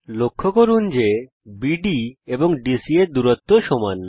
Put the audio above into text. লক্ষ্য করুন যে বিডি এবং ডিসি এর দূরত্ব সমান